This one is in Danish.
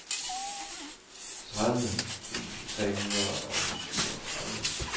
tredive tusind tre hundrede og syvogtredive